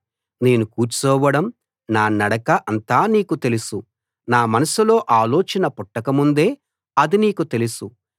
నేను కూర్చోవడం నా నడక అంతా నీకు తెలుసు నా మనసులో ఆలోచన పుట్టక ముందే అది నీకు తెలుసు